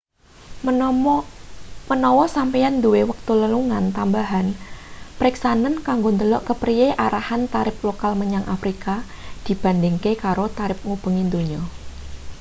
menawa sampeyan duwe wektu lelungan tambahan periksanen kanggo ndelok kepriye arahan tarip total menyang afrika dibandingake karo tarip ngubengi donya